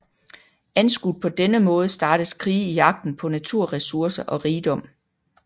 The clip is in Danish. Anskuet på denne måde startes krige i jagten på naturressourcer og rigdom